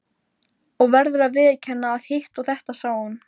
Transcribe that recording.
Og verður að viðurkenna að hitt og þetta sá hún.